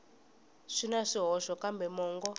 swi na swihoxo kambe mongo